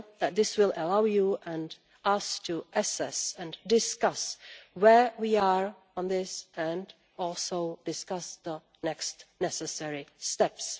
This will allow you and us to assess and discuss where we are on this and also discuss the next necessary steps.